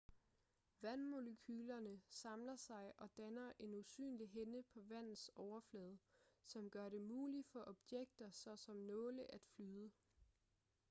vandmolekylerne samler sig og danner en usynlig hinde på vandets overflade som gør det muligt for objekter såsom nåle at flyde